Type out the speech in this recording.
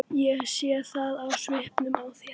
Ég sé það á svipnum á þér.